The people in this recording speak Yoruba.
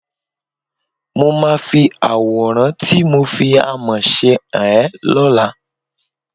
Mo máa fi àwòrán tí mo fi àmọ̀ ṣe hàn ẹ́ lọ́la